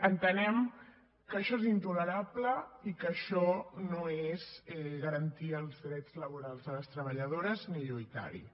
entenem que això és intolerable i que això no és garantir els drets laborals de les treballadores ni lluitar hi